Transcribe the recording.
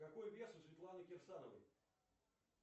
какой вес у светланы кирсановой